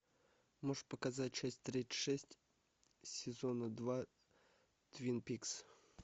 можешь показать часть тридцать шесть сезона два твин пикс